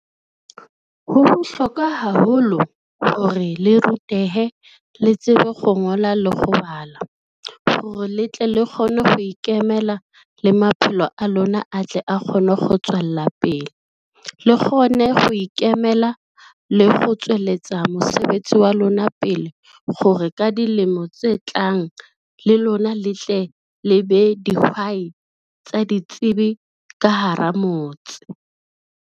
Ho bohlokwa haholo hore le rutehe le tsebe go ngola le go bala. Gore le tle le kgone ho ikemela le maphelo a lona, a tle a kgone go tswella pele. Le kgone go ikemela le go tswelletsa mosebetsi wa lona pele gore ka dilemo tse tlang le lona le tle le be dihwai tsa ditsebi ka hara motse.